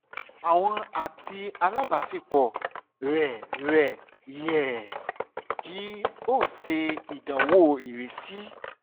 iwọ ati alabaṣepọ rẹ rẹ yẹ ki o ṣe idanwo irisi